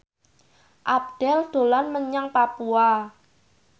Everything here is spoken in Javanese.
Abdel dolan menyang Papua